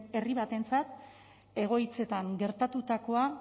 herri batentzat egoitzetan gertatutakoa